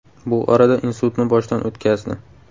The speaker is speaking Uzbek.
Bu orada insultni boshdan o‘tkazdi.